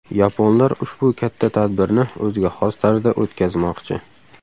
Yaponlar ushbu katta tadbirni o‘ziga xos tarzda o‘tkazmoqchi.